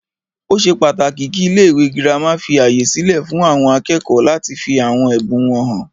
Ó ṣe pàtàkì kí ilé ìwé gírámà fí ààyè sílẹ fún àwọn akẹ́kọ̀ọ́ láti fí àwọn ẹbùn wọn hàn.